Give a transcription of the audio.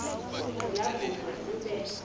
zela kude kube